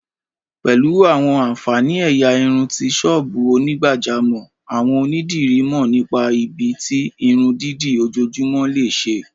Pẹ̀lú àwọn ààǹfàní ẹ̀yà irun ti ṣọ́ọ́bù onígbàjámọ̀, àwọn onídìrí mọ̀ nípa ibi tí irun dídì ojoojúmọ́ lè ṣe